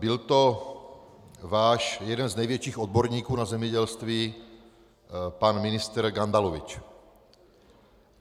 Byl to váš jeden z největších odborníků na zemědělství pan ministr Gandalovič.